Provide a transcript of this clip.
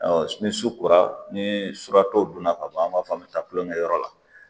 ni su kora ni surakatɔw donna ka ban an b'a fɔ an bɛ taa kulonkɛ kɛ yɔrɔ la